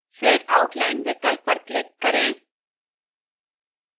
फिर outline विकल्प पर click करें